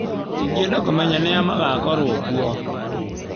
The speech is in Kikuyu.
Ingĩenda kũmenya nĩ a magakorwo kuo.